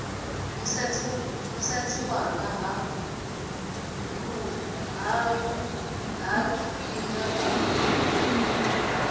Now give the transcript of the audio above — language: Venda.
musadzi wanga ha lufaṱinga a